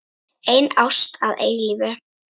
Ein ást að eilífu.